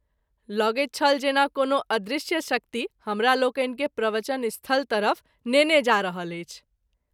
लगैत छल जेना कोनो अदृश्य शक्ति हमरालोकनि के प्रवचन स्थल तरफ नेने जा रहल अछि।